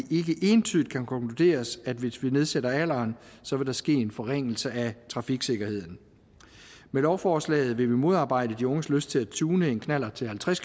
ikke entydigt kan konkluderes at hvis vi nedsætter alderen så vil der ske en forringelse af trafiksikkerheden med lovforslaget vil vi modarbejde de unges lyst til at tune en knallert til halvtreds